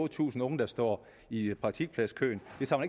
tusind unge der står i praktikpladskøen